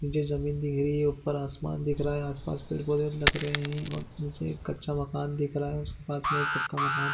--नीचे ज़मीन दिख रही है ऊपर आसमान दिख रहा है आसपास पेड़ पौधे लग रहे है और नीचे कच्चा माकन दिख रहा है उसके पास मे एक माकन--